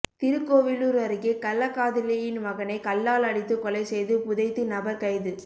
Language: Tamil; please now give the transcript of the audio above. திருக்கோவிலூர் அருகே கள்ளக்காதலியின் மகனை கல்லால் அடித்து கொலை செய்து புதைத்து நபர் கைது